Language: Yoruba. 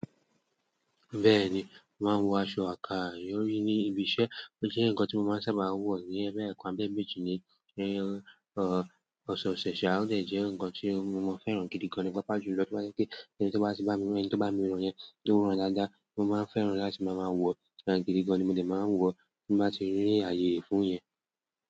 Bẹ́ẹ̀ni, mo máa ń wọ aṣọ àkàrí orí ní ibi iṣẹ́, ó jẹ́ ǹkan tí mo máa ń sábà wọ̀ ní boya ekan àbí ẹ́eméjì ní ọ̀sẹ̀ oṣe, ṣà o de jẹ́ ǹkan tí mo fẹ́ràn gidi gan-an papa ju lọ to ba jẹ́ pé ẹni tí ó bá ti bá mi rán, ẹni tí ó bá mi rán yẹn tó ran dáadáa, mo máa ń fẹ́ràn láti máa wọ̀, àti gidi gan-an ni mo dẹ̀ máa wọ̀ tí mo bá ti rí ààyè fún yẹn.